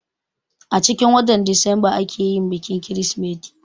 Acikin watan disamba ake yin bikin kirsimeti